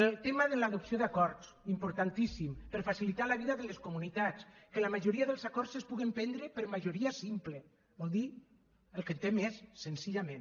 el tema de l’adopció d’acords importantíssim per facilitar la vida de les comunitats que la majoria dels acords es puguen prendre per majoria simple vol dir el que en té més senzillament